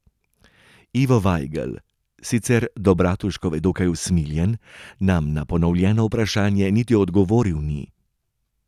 Ivo Vajgl, sicer do Bratuškove dokaj usmiljen, nam na ponovljeno vprašanje niti odgovoril ni.